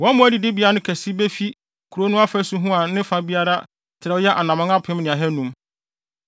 “Wɔn mmoa adidibea no kɛse befi kurow no afasu ho a ne fa biara trɛw yɛ anammɔn apem ne ahannum.